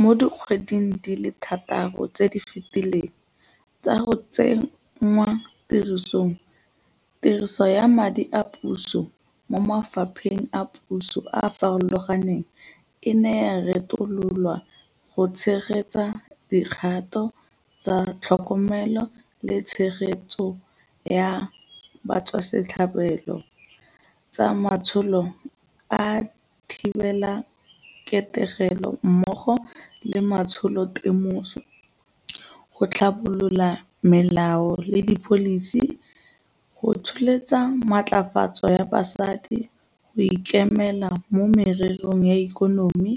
Mo dikgweding di le thataro tse di fetileng tsa go tsenngwatirisong, tiriso ya madi a puso mo mafapheng a puso a a farologaneng e ne ya retololwa go tshegetsa dikgato tsa tlhokomelo le tshegetso ya batswasetlhabelo, tsa matsholo a thibelaketegelo mmogo le matsholotemoso, go tlhabolola melao le dipholisi, go tsholetsa matlafatso ya basadi go ikemela mo mererong ya ikonomi,